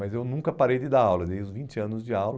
Mas eu nunca parei de dar aula, desde os vinte anos de aula.